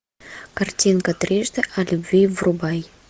картинка трижды о любви врубай